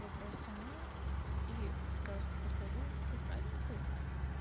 вопрос сама и просто подхожу к охраннику